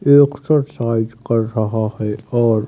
exercise कर रहा है और--